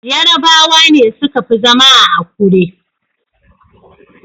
Yarabawa ne suka fi zama a Akure.